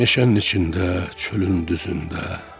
Meşənin içində, çölün düzündə.